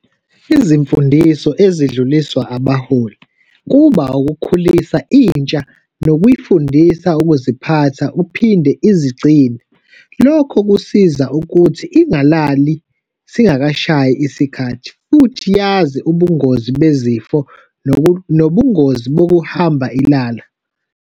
Izimfundiso ezidluliswa abaholi kuba ukukhulisa intsha nokuyifundisa ukuziphatha, uphinde izigcine. Lokho kusiza ukuthi ingalali singakashayi isikhathi. Futhi yazi ubungozi bezifo nobungozi bokuhamba ilala.